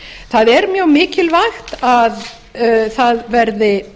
það er mjög mikilvægt að það verði